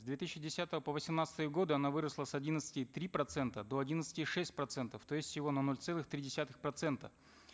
с две тысячи десятого по восемнадцатый годы она выросла с одиннадцати и три процентов до одиннадцати и шести процентов то есть всего на ноль целых три десятых процента